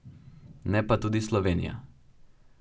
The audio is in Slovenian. Ne pa tudi Slovenija.